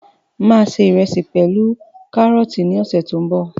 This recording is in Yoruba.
Máa ṣe ìrẹsì pẹlu karọọti ní ọsẹ tó n bọ